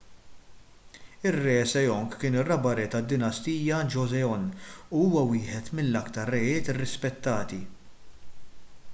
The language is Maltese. ir-re sejong kien ir-raba' re tad-dinastija joseon u huwa wieħed mill-aktar rejiet irrispettati